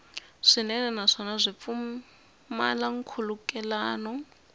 swinene naswona byi pfumala nkhulukelano